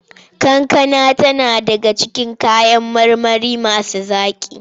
Kankana tana daga cikin kayan marmari masu zaƙi.